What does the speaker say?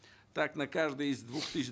так на каждый из двух тысяч